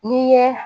N'i ye